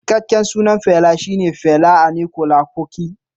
Cikakken sunan Fela kuti shi ne Fela Aníkúlápó Kuti.